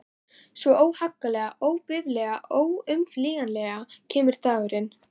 Svo, óhagganlega, óbifanlega, óumflýjanlega kemur dagurinn.